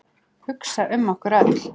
Hugsa um okkur öll.